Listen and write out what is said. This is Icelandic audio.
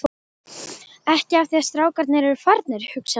Ekki af því að strákarnir eru farnir, hugsaði hún.